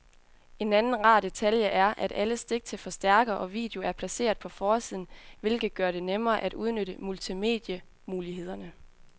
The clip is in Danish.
En anden rar detalje er, at alle stik til forstærker og video er placeret på forsiden, hvilket gør det nemmere at udnytte multimedie-mulighederne.